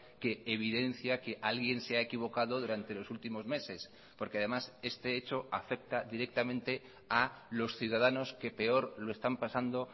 que evidencia que alguien se ha equivocado durante los últimos meses porque además este hecho afecta directamente a los ciudadanos que peor lo están pasando